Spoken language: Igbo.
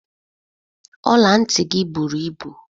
Ọla ntị gị bụrụ ịbụ